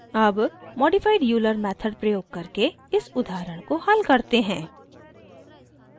अब modified euler method प्रयोग करके इस उदाहरण को हल करते हैं